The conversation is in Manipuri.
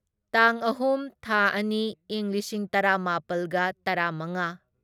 ꯇꯥꯡ ꯑꯍꯨꯝ ꯊꯥ ꯑꯅꯤ ꯢꯪ ꯂꯤꯁꯤꯡ ꯇꯔꯥꯃꯥꯄꯜꯒ ꯇꯔꯥꯃꯉꯥ